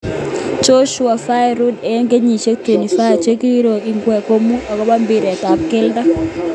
Joshua v Ruiz II: Eng saisiek 24 chekirus ingweny komugul ab mbiret ab keldo.